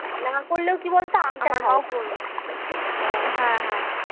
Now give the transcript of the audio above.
না করলে কি বল তো করবো